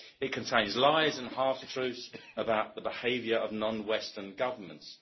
It contains lies and half truths about the behaviour of non Western governments.